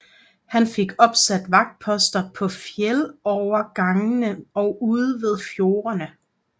Han fik opsat vagtposter på fjeldovergangene og ude ved fjordene